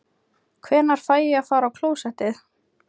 Hvenær fæ ég að fara á klósettið?